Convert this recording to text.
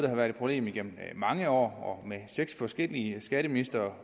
har været et problem gennem mange år og med seks forskellige skatteministre